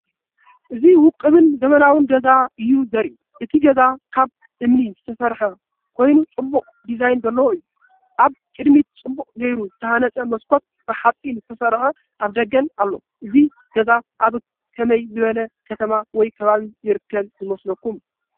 እዚ ውቁብን ዘመናውን ገዛ እዩ ዘርኢ። እቲ ገዛ ካብ እምኒ ዝተሰርሐ ኮይኑ ጽቡቕ ዲዛይን ዘለዎ እዩ። ኣብ ቅድሚት ጽቡቕ ጌሩ ዝተሃንጸ መስኮትን ብሓጺን ዝተሰርሐ ኣፍደገን ኣሎ። እዚ ገዛ ኣብ ከመይ ዝበለ ከተማ ወይ ከባቢ ይርከብ ይመስለኩም?